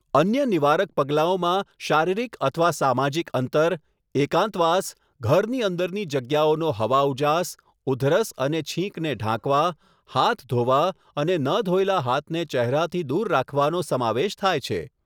અન્ય નિવારક પગલાંઓમાં શારીરિક અથવા સામાજિક અંતર, એકાંતવાસ, ઘરની અંદરની જગ્યાઓનો હવાઉજાસ, ઉધરસ અને છીંકને ઢાંકવા, હાથ ધોવા અને ન ધોયેલાં હાથને ચહેરાથી દૂર રાખવાનો સમાવેશ થાય છે.